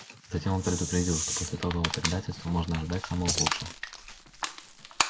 затем он предупредил что после такого предательства можно ожидать самого худшего